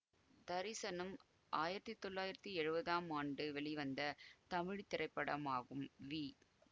தரிசனம் ஆயிரத்தி தொள்ளாயிரத்தி எழுவதாம் ஆண்டு வெளிவந்த தமிழ் திரைப்படமாகும் வி